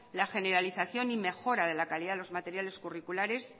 la generalización y mejora de la calidad de los materiales curriculares